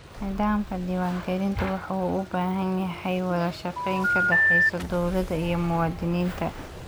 Nidaamka diwaangelintu waxa uu u baahan yahay wada shaqayn ka dhaxaysa dawladda iyo muwaadiniinta.